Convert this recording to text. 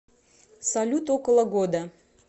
салют около года